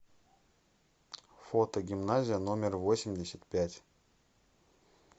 фото гимназия номер восемьдесят пять